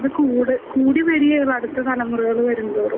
ഇത് കൂട് കൂടി വരികയൊള്ളു അടുത്ത് തലമുറയില് വരുംതോറും.